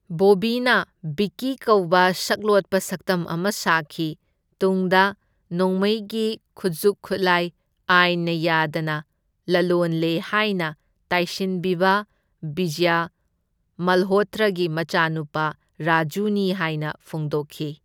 ꯕꯣꯕꯤꯅ ꯚꯤꯛꯀꯤ ꯀꯧꯕ ꯁꯛꯂꯣꯠꯄ ꯁꯛꯇꯝ ꯑꯃ ꯁꯥꯈꯤ, ꯇꯨꯡꯗ ꯅꯣꯡꯃꯩꯒꯤ ꯈꯨꯠꯖꯨꯛ ꯈꯨꯠꯂꯥꯢ ꯑꯥꯢꯟꯅ ꯌꯥꯗꯅ ꯂꯂꯣꯟꯂꯦ ꯍꯥꯢꯅ ꯇꯥꯢꯁꯤꯟꯕꯤꯕ ꯕꯤꯖꯌ ꯃꯜꯍꯣꯇ꯭ꯔꯥꯒꯤ ꯃꯆꯥꯅꯨꯄꯥ ꯔꯥꯖꯨꯅꯤ ꯍꯥꯢꯅ ꯐꯣꯡꯗꯣꯛꯈꯤ꯫